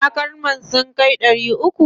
70